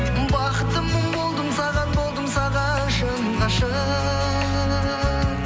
бақыттымын болдым саған болдым саған шын ғашық